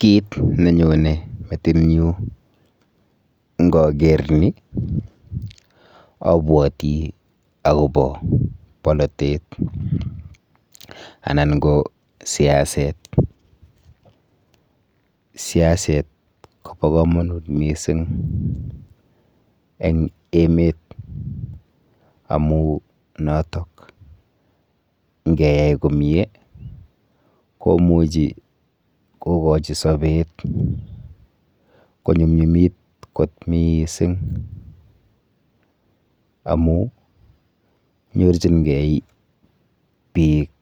Kit nenyone metinyu nkoker ni abwoti akopo polotet anan ko siaset. Siaset kopo komonut mising eng emet amu notok nkeyai komie komuchi kokochi sopet konyumnyumit kot miising amu nyorchingei biik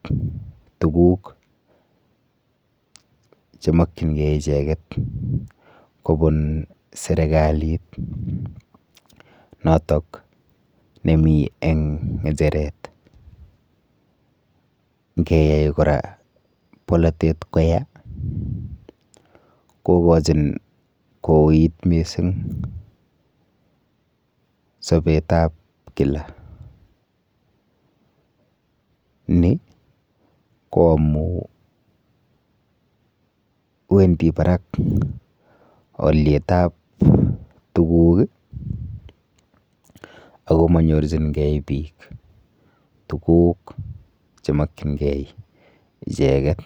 tuguk chemokchingei icheket kobun serikalit notok nemi ng'echeret. Nkeyai kora polotet koya kokochin kouit mising sopetap kila ni ko amu wendi barak alyetap tuguk ako manyorchingei biik tuguk chemokchingei icheket.